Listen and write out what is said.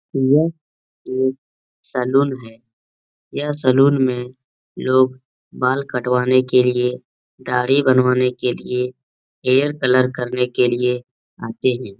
यह एक सेलून है। यहां सेलून में लोग बाल कटवाने के लिए दाढ़ी बनवाने के लिए हेयर कलर करने के लिए आते है।